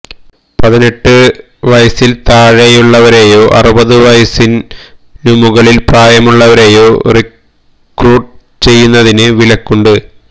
പതിനെട്ട് വയസിൽ താഴെയുള്ളവരെയോ അറുപത് വയസിനുമുകളിൽ പ്രായമുള്ളവരെയോ റിക്രൂട്ട് ചെയ്യുന്നതിന് വിലക്കുണ്ട്